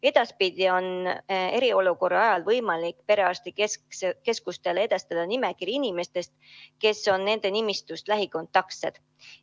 Edaspidi on eriolukorra ajal võimalik perearstikeskustele edastada nimekiri inimestest, kes nende nimistust on lähikontaktsed.